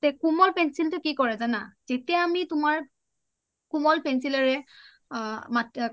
তে কুমল pencil টো কি কৰে জানা যেতিয়া আমি তুমাৰ কুমল pencil ৰে আ